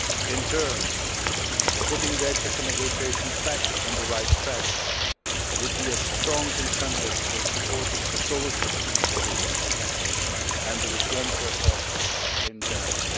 In turn, putting the accession negotiations back on the right track would be a strong incentive for supporting a solution for this issue and the reform process in general.